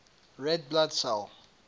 red blood cell